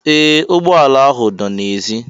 Ee! Ụgbọala ahụ dọ n'èzí